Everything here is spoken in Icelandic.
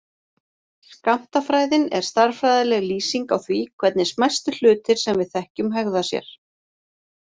Skammtafræðin er stærðfræðileg lýsing á því hvernig smæstu hlutir sem við þekkjum hegða sér.